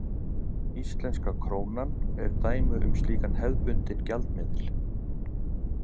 Íslenska krónan er dæmi um slíkan hefðbundinn gjaldmiðil.